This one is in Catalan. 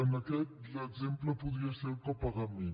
en aquest l’exemple podria ser el copagament